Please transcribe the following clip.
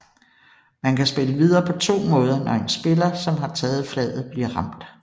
Man kan spille videre på to måder når en spiller som har taget flaget bliver ramt